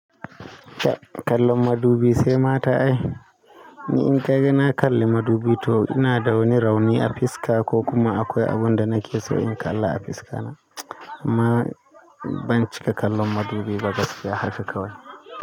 Kallon madubi sai mata ne. In ka ga na kalli madubi to ina da wani rauni a fiska ko kuma akwai abin da nake so na kalla a fiskana. Ma banci ka kallon madubi ba gaskiya haka kawai.